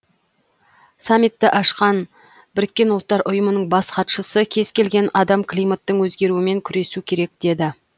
самитті ашқан біріккен ұлттар ұйымының бас хатшысы кез келген адам климаттың өзгеруімен күресу керек деді